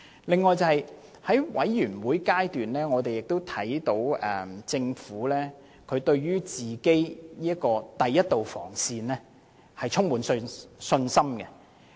此外，在法案委員會，我們看到政府對第一道防線充滿信心。